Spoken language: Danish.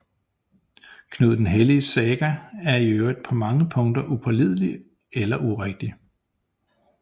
Knud den Helliges saga er i øvrigt på mange punkter upålidelig eller urigtig